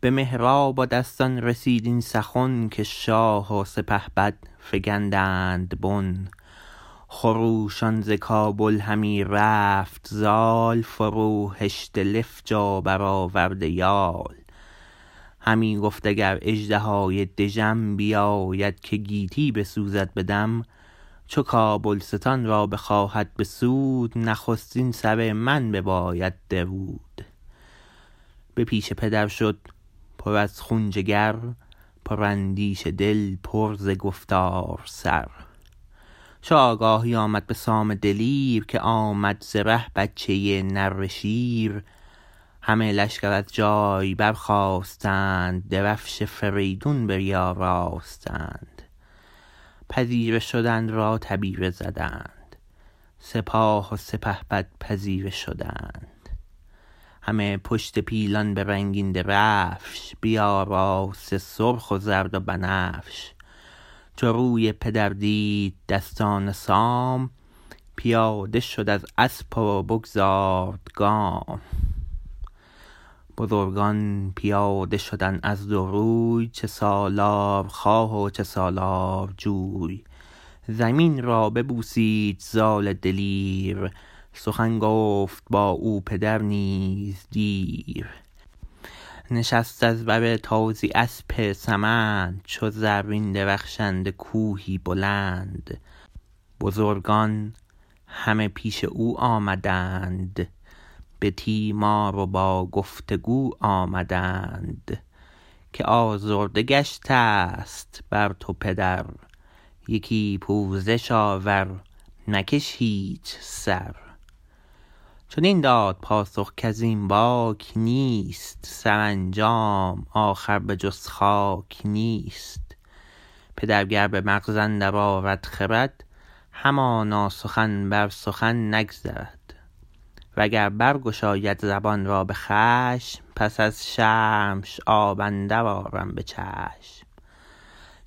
به مهراب و دستان رسید این سخن که شاه و سپهبد فگندند بن خروشان ز کابل همی رفت زال فروهشته لفج و برآورده یال همی گفت اگر اژدهای دژم بیاید که گیتی بسوزد به دم چو کابلستان را بخواهد بسود نخستین سر من بباید درود به پیش پدر شد پر از خون جگر پر اندیشه دل پر ز گفتار سر چو آگاهی آمد به سام دلیر که آمد ز ره بچه نره شیر همه لشکر از جای برخاستند درفش فریدون بیاراستند پذیره شدن را تبیره زدند سپاه و سپهبد پذیره شدند همه پشت پیلان به رنگین درفش بیاراسته سرخ و زرد و بنفش چو روی پدر دید دستان سام پیاده شد از اسپ و بگذارد گام بزرگان پیاده شدند از دو روی چه سالارخواه و چه سالارجوی زمین را ببوسید زال دلیر سخن گفت با او پدر نیز دیر نشست از بر تازی اسپ سمند چو زرین درخشنده کوهی بلند بزرگان همه پیش او آمدند به تیمار و با گفت و گو آمدند که آزرده گشتست بر تو پدر یکی پوزش آور مکش هیچ سر چنین داد پاسخ کزین باک نیست سرانجام آخر به جز خاک نیست پدر گر به مغز اندر آرد خرد همانا سخن بر سخن نگذرد و گر برگشاید زبان را به خشم پس از شرمش آب اندر آرم به چشم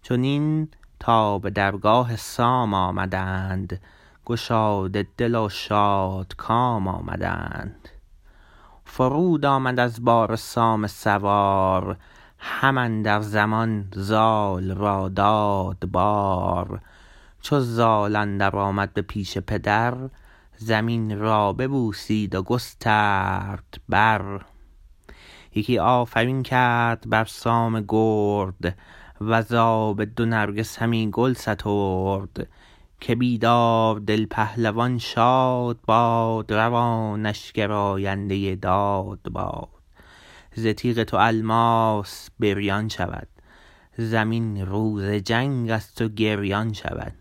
چنین تا به درگاه سام آمدند گشاده دل و شادکام آمدند فرود آمد از باره سام سوار هم اندر زمان زال را داد بار چو زال اندر آمد به پیش پدر زمین را ببوسید و گسترد بر یکی آفرین کرد بر سام گرد وزاب دو نرگس همی گل سترد که بیدار دل پهلوان شاد باد روانش گراینده داد باد ز تیغ تو الماس بریان شود زمین روز جنگ از تو گریان شود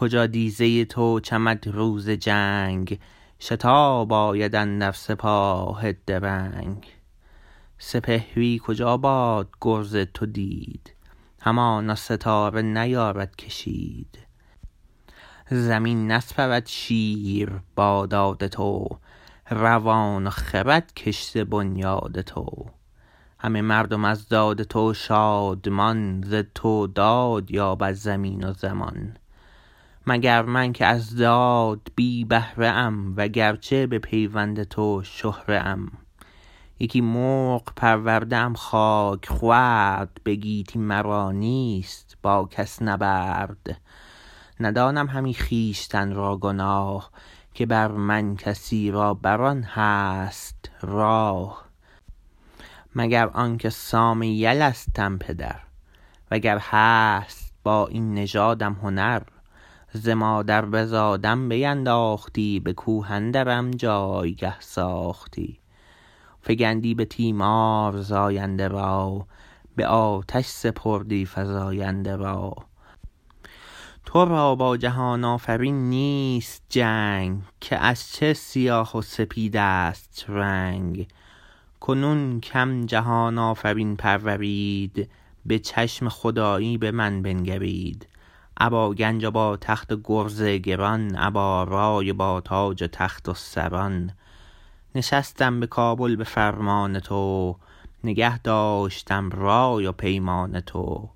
کجا دیزه تو چمد روز جنگ شتاب آید اندر سپاه درنگ سپهری کجا باد گرز تو دید همانا ستاره نیارد کشید زمین نسپرد شیر با داد تو روان و خرد کشته بنیاد تو همه مردم از داد تو شادمان ز تو داد یابد زمین و زمان مگر من که از داد بی بهره ام و گرچه به پیوند تو شهره ام یکی مرغ پرورده ام خاک خورد به گیتی مرا نیست با کس نبرد ندانم همی خویشتن را گناه که بر من کسی را بران هست راه مگر آنکه سام یلستم پدر و گر هست با این نژادم هنر ز مادر بزادم بینداختی به کوه اندرم جایگه ساختی فگندی به تیمار زاینده را به آتش سپردی فزاینده را ترا با جهان آفرین نیست جنگ که از چه سیاه و سپیدست رنگ کنون کم جهان آفرین پرورید به چشم خدایی به من بنگرید ابا گنج و با تخت و گرز گران ابا رای و با تاج و تخت و سران نشستم به کابل به فرمان تو نگه داشتم رای و پیمان تو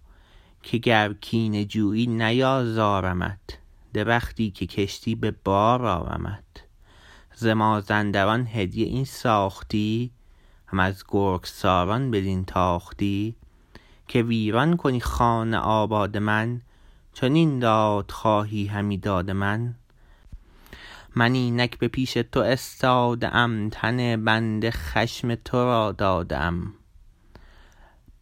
که گر کینه جویی نیازارمت درختی که کشتی به بار آرمت ز مازندران هدیه این ساختی هم از گرگساران بدین تاختی که ویران کنی خان آباد من چنین داد خواهی همی داد من من اینک به پیش تو استاده ام تن بنده خشم ترا داده ام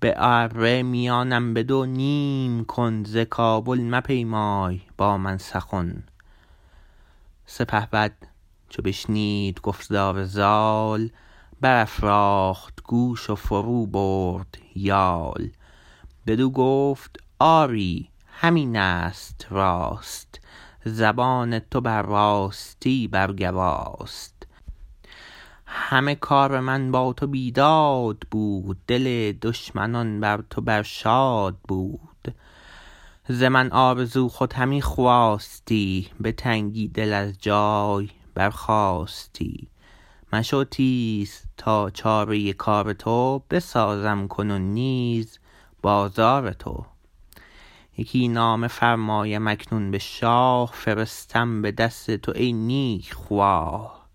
به اره میانم بدو نیم کن ز کابل مپیمای با من سخن سپهبد چو بشنید گفتار زال برافراخت گوش و فرو برد یال بدو گفت آری همینست راست زبان تو بر راستی بر گواست همه کار من با تو بیداد بود دل دشمنان بر تو بر شاد بود ز من آرزو خود همین خواستی به تنگی دل از جای برخاستی مشو تیز تا چاره کار تو بسازم کنون نیز بازار تو یکی نامه فرمایم اکنون به شاه فرستم به دست تو ای نیک خواه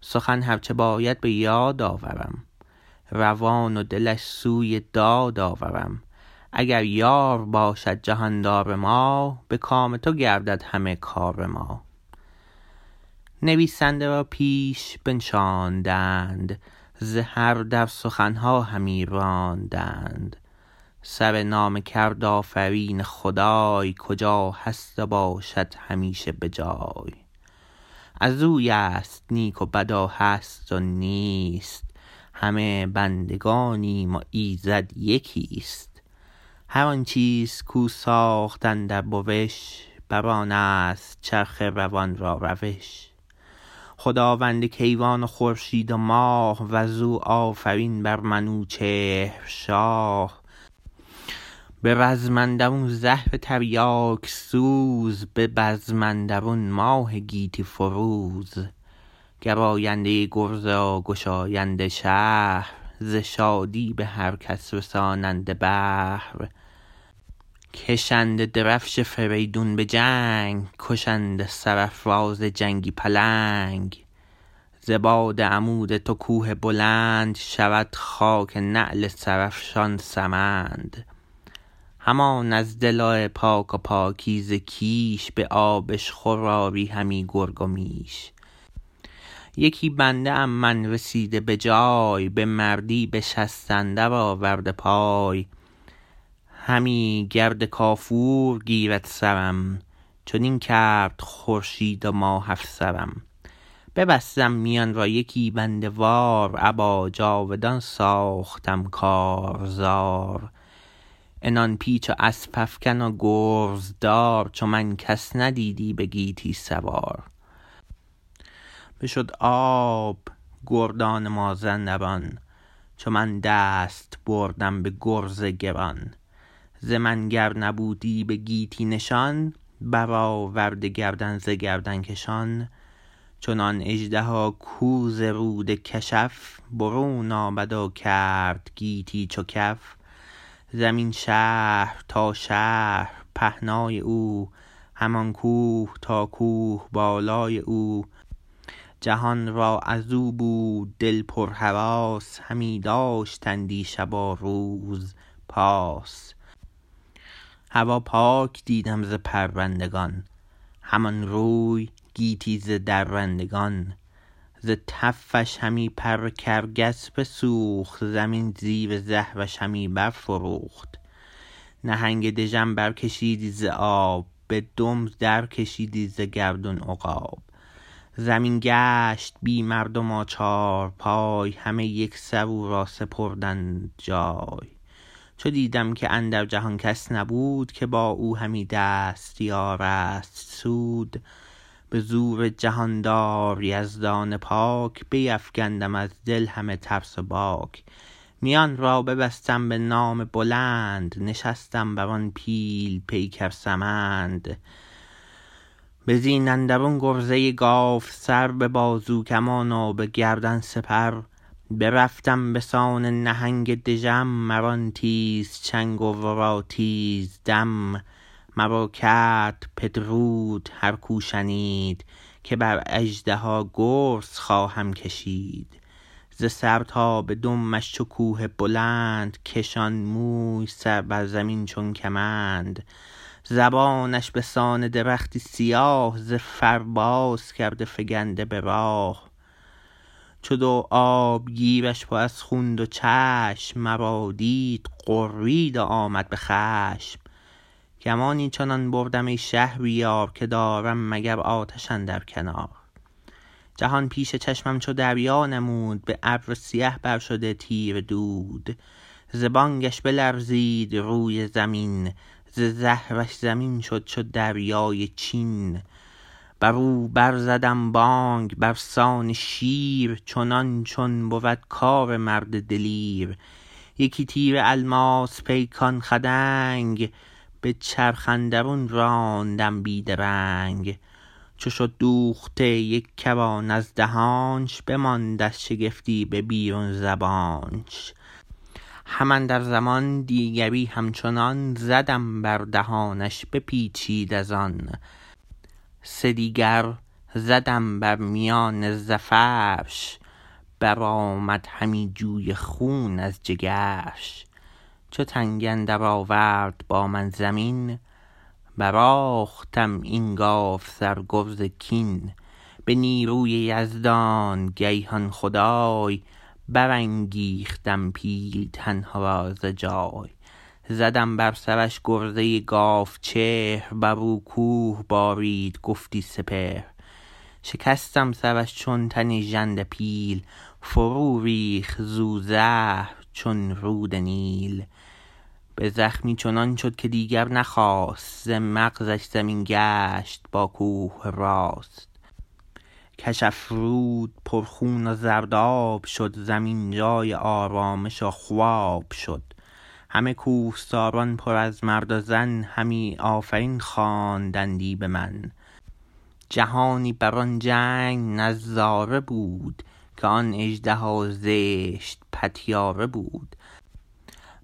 سخن هر چه باید به یاد آورم روان و دلش سوی داد آورم اگر یار باشد جهاندار ما به کام تو گردد همه کار ما نویسنده را پیش بنشاندند ز هر در سخنها همی راندند سرنامه کرد آفرین خدای کجا هست و باشد همیشه به جای ازویست نیک و بد و هست و نیست همه بندگانیم و ایزد یکیست هر آن چیز کو ساخت اندر بوش بران است چرخ روان را روش خداوند کیوان و خورشید و ماه وزو آفرین بر منوچهر شاه به رزم اندرون زهر تریاک سوز به بزم اندرون ماه گیتی فروز گراینده گرز و گشاینده شهر ز شادی به هر کس رساننده بهر کشنده درفش فریدون به جنگ کشنده سرافراز جنگی پلنگ ز باد عمود تو کوه بلند شود خاک نعل سرافشان سمند همان از دل پاک و پاکیزه کیش به آبشخور آری همی گرگ و میش یکی بنده ام من رسیده به جای به مردی به شست اندر آورده پای همی گرد کافور گیرد سرم چنین کرد خورشید و ماه افسرم ببستم میان را یکی بنده وار ابا جاودان ساختم کارزار عنان پیچ و اسپ افگن و گرزدار چو من کس ندیدی به گیتی سوار بشد آب گردان مازندران چو من دست بردم به گرز گران ز من گر نبودی به گیتی نشان برآورده گردن ز گردن کشان چنان اژدها کو ز رود کشف برون آمد و کرد گیتی چو کف زمین شهر تا شهر پهنای او همان کوه تا کوه بالای او جهان را ازو بود دل پر هراس همی داشتندی شب و روز پاس هوا پاک دیدم ز پرندگان همان روی گیتی ز درندگان ز تفش همی پر کرگس بسوخت زمین زیر زهرش همی برفروخت نهنگ دژم بر کشیدی ز آب به دم درکشیدی ز گردون عقاب زمین گشت بی مردم و چارپای همه یکسر او را سپردند جای چو دیدم که اندر جهان کس نبود که با او همی دست یارست سود به زور جهاندار یزدان پاک بیفگندم از دل همه ترس و باک میان را ببستم به نام بلند نشستم بران پیل پیکر سمند به زین اندرون گرزه گاوسر به بازو کمان و به گردن سپر برفتم بسان نهنگ دژم مرا تیز چنگ و ورا تیز دم مرا کرد پدرود هرکو شنید که بر اژدها گرز خواهم کشید ز سر تا به دمش چو کوه بلند کشان موی سر بر زمین چون کمند زبانش بسان درختی سیاه ز فر باز کرده فگنده به راه چو دو آبگیرش پر از خون دو چشم مرا دید غرید و آمد به خشم گمانی چنان بردم ای شهریار که دارم مگر آتش اندر کنار جهان پیش چشمم چو دریا نمود به ابر سیه بر شده تیره دود ز بانگش بلرزید روی زمین ز زهرش زمین شد چو دریای چین برو بر زدم بانگ برسان شیر چنان چون بود کار مرد دلیر یکی تیر الماس پیکان خدنگ به چرخ اندرون راندم بی درنگ چو شد دوخته یک کران از دهانش بماند از شگفتی به بیرون زبانش هم اندر زمان دیگری همچنان زدم بر دهانش بپیچید ازان سدیگر زدم بر میان زفرش برآمد همی جوی خون از جگرش چو تنگ اندر آورد با من زمین برآهختم این گاوسر گرز کین به نیروی یزدان گیهان خدای برانگیختم پیلتن را ز جای زدم بر سرش گرزه گاو چهر برو کوه بارید گفتی سپهر شکستم سرش چون تن ژنده پیل فرو ریخت زو زهر چون رود نیل به زخمی چنان شد که دیگر نخاست ز مغزش زمین گشت باکوه راست کشف رود پر خون و زرداب شد زمین جای آرامش و خواب شد همه کوهساران پر از مرد و زن همی آفرین خواندندی بمن جهانی بران جنگ نظاره بود که آن اژدها زشت پتیاره بود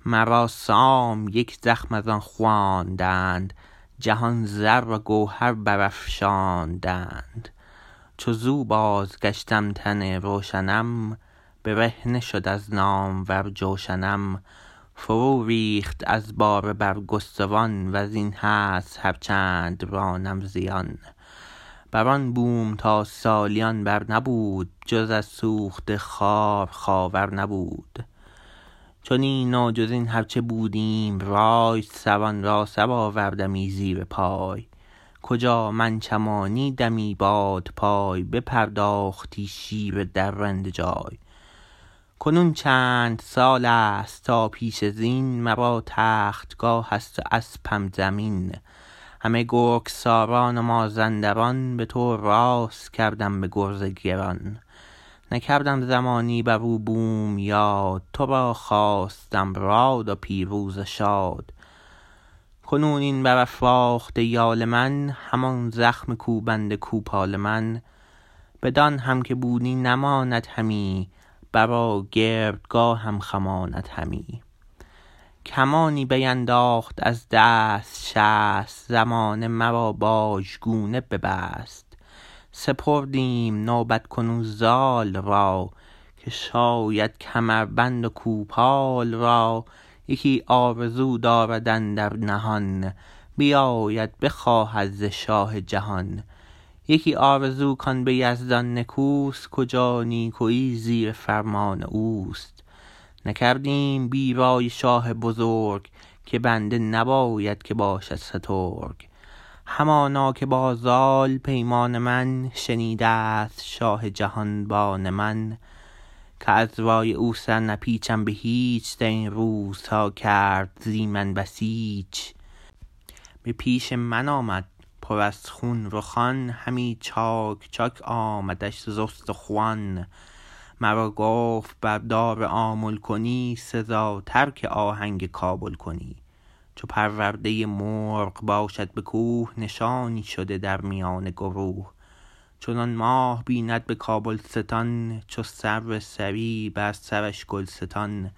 مرا سام یک زخم ازان خواندند جهان زر و گوهر برافشاندند چو زو بازگشتم تن روشنم برهنه شد از نامور جوشنم فرو ریخت از باره برگستوان وزین هست هر چند رانم زیان بران بوم تا سالیان بر نبود جز از سوخته خار خاور نبود چنین و جزین هر چه بودیم رای سران را سرآوردمی زیر پای کجا من چمانیدمی بادپای بپرداختی شیر درنده جای کنون چند سالست تا پشت زین مرا تختگاه است و اسپم زمین همه گرگساران و مازنداران به تو راست کردم به گرز گران نکردم زمانی برو بوم یاد ترا خواستم راد و پیروز و شاد کنون این برافراخته یال من همان زخم کوبنده کوپال من بدان هم که بودی نماند همی بر و گردگاهم خماند همی کمندی بینداخت از دست شست زمانه مرا باژگونه ببست سپردیم نوبت کنون زال را که شاید کمربند و کوپال را یکی آرزو دارد اندر نهان بیاید بخواهد ز شاه جهان یکی آرزو کان به یزدان نکوست کجا نیکویی زیر فرمان اوست نکردیم بی رای شاه بزرگ که بنده نباید که باشد سترگ همانا که با زال پیمان من شنیدست شاه جهان بان من که از رای او سر نپیچم به هیچ درین روزها کرد زی من بسیچ به پیش من آمد پر از خون رخان همی چاک چاک آمدش ز استخوان مرا گفت بردار آمل کنی سزاتر که آهنگ کابل کنی چو پرورده مرغ باشد به کوه نشانی شده در میان گروه چنان ماه بیند به کابلستان چو سرو سهی بر سرش گلستان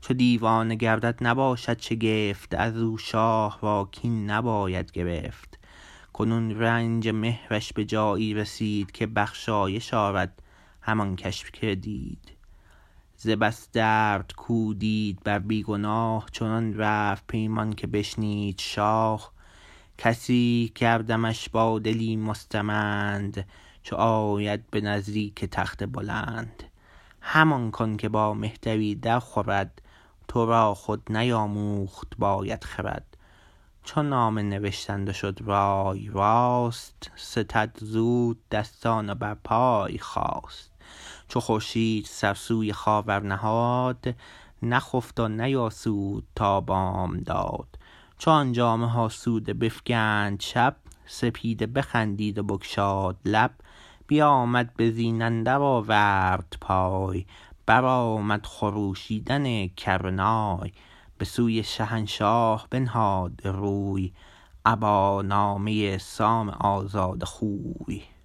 چو دیوانه گردد نباشد شگفت ازو شاه را کین نباید گرفت کنون رنج مهرش به جایی رسید که بخشایش آرد هر آن کش بدید ز بس درد کو دید بر بی گناه چنان رفت پیمان که بشنید شاه گسی کردمش با دلی مستمند چو آید به نزدیک تخت بلند همان کن که با مهتری در خورد ترا خود نیاموخت باید خرد چو نامه نوشتند و شد رای راست ستد زود دستان و بر پای خاست چو خورشید سر سوی خاور نهاد نخفت و نیاسود تا بامداد چو آن جامه ها سوده بفگند شب سپیده بخندید و بگشاد لب بیامد به زین اندر آورد پای برآمد خروشیدن کره نای به سوی شهنشاه بنهاد روی ابا نامه سام آزاده خوی